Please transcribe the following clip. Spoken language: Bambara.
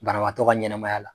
Banawaatɔ ka ɲɛnamaya la